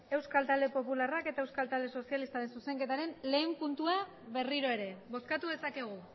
euskal talde popularrak eta euskal talde sozialistaren zuzenketaren lehen puntua berriro ere bozkatu dezakegu